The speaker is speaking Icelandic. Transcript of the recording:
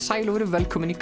sæl og verið velkomin í